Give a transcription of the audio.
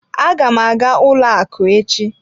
Aga m aga ụlọ akụ echi.